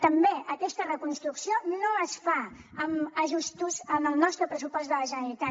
també aquesta reconstrucció no es fa amb ajustos en el nostre pressupost de la generalitat